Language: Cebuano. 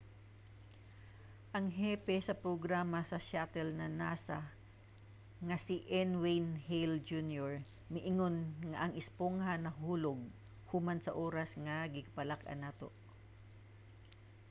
ang hepe sa programa sa shuttle sa nasa nga si n. wayne hale jr. miingon nga ang espongha nahulog human sa oras nga gikabalak-an nato.